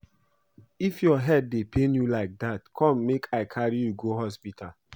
If your head dey pain you like dat come make I carry you go hospital